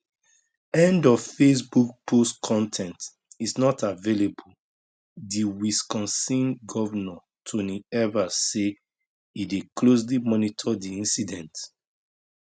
end of facebook post con ten t is not available di wisconsin govnor tony evers say e dey closely monitor di incident